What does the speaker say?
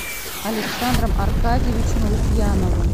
александром аркадьевичем лукьяновым